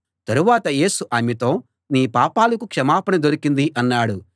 తరువాత యేసు ఆమెతో నీ పాపాలకు క్షమాపణ దొరికింది అన్నాడు